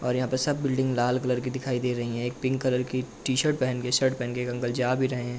और यहाँ पे सब बिल्डिंग लाल कलर की दिखाई दे रही है। एक पिंक कलर की टी-शर्ट पहन के शर्ट पहन के एक अंकल जा भी रहे हैं।